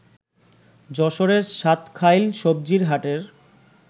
যশোরের সাতখাইল সবজির হাটের